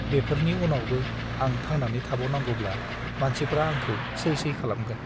बेफोरनि उनावबो आं थांनानै थाबावनांगौब्ला मानसिफ्रा आंखौ सै सै खालामगोन ।